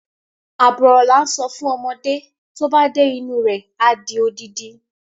Àbọ̀ ọ̀rọ̀ làá ń sọ fún ọmọdé, tóba dé inú rẹ adi odidi.